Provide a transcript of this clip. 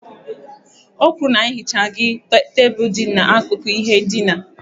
O kwuru na ya ehichaghị tebụl dị n'akụkụ ihe ndina